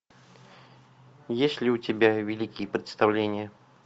есть ли у тебя великие представления